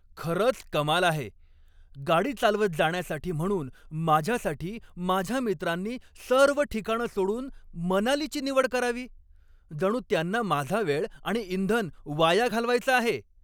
खरंच कमाल आहे, गाडी चालवत जाण्यासाठी म्हणून माझ्यासाठी माझ्या मित्रांनी सर्व ठिकाणं सोडून मनालीची निवड करावी? जणू त्यांना माझा वेळ आणि इंधन वाया घालवायचं आहे!